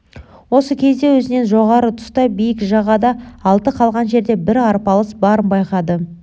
осы кезде өзінен жоғары тұста биік жағада аты қалған жерде бір арпалыс барын байқады